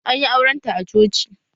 Anyi auren ta a coci